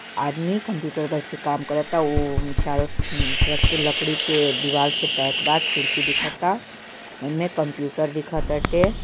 आदमी कंप्यूटर पर बैठ के काम करता है वो चारो तरफ से लकड़ी के दिवाल से पैक बा खिड़की दिखता एमे कंप्यूटर दीख ताटे |